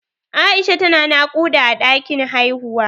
Aisha ta na naƙuda a ɗakin haihuwa